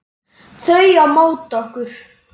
Þau á móti okkur.